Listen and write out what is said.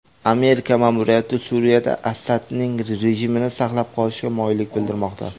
Amerika ma’muriyati Suriyada Asadning rejimini saqlab qolishga moyillik bildirmoqda.